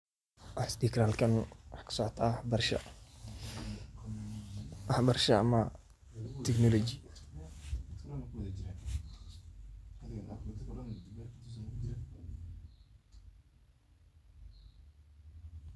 Waxan isdihi karaa halkan waxa kasocota waxbarasha ama technology.